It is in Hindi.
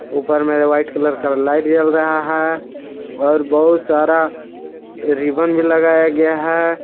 ऊपर मे व्हाइट कलर का लाइट जल रहा है और बहुत सारा रिबन भी लगाया गया है।